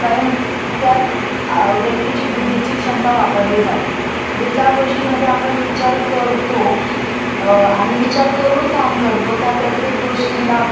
अ आणि विचार करून काम करतो त्या प्रत्येक गोष्टीला आपण अ बौद्धिक श्रम म्हणू शकतो. उदारणार्थ गाडी चालवणे त्याचा साठी पण डोकं वापरावं लागत.